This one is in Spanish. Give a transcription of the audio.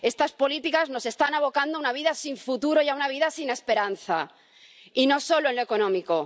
Estas políticas nos están abocando a una vida sin futuro y a una vida sin esperanza, y no solo en lo económico.